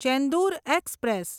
Chendur express